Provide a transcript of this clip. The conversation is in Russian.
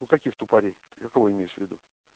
у каких тупарей какого имеешь в виду